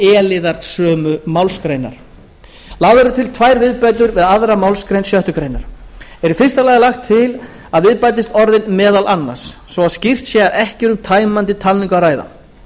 e liðar sömu málsgreinar lagðar eru til tvær viðbætur við aðra málsgrein sjöttu grein er í fyrsta lagi lagt til að við bætist orðin meðal annars svo að skýrt sé að ekki er um tæmandi talningu að ræða